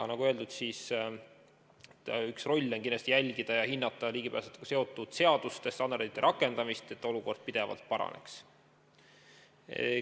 Nagu öeldud, üks nõukogu roll on kindlasti jälgida ja hinnata ligipääsetavusega seotud seaduste ja standardite rakendamist, et olukord pidevalt paraneks.